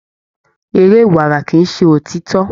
Eré ìwárà kí ṣe òtítọ.